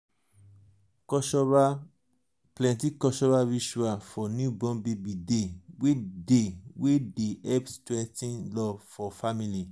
plenty cultural ritual for newborn baby dey wey dey wey dey help strengthen love for family.